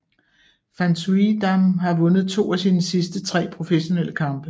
Van Suijdam har vundet to af sine sidste tre professionelle kampe